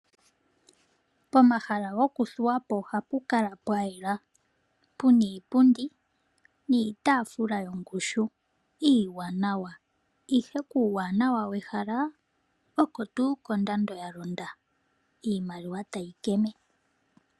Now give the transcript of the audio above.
Pomahala goku thuwapo ohapu kala pwa yela puna iipundi niitaafula yongushu iiwanawa, ihe kuuwanawa wehala oko tuu kondado ya londa, iimaliwa tayi keme.